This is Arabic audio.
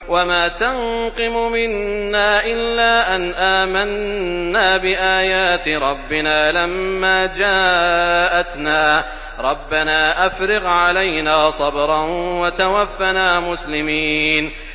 وَمَا تَنقِمُ مِنَّا إِلَّا أَنْ آمَنَّا بِآيَاتِ رَبِّنَا لَمَّا جَاءَتْنَا ۚ رَبَّنَا أَفْرِغْ عَلَيْنَا صَبْرًا وَتَوَفَّنَا مُسْلِمِينَ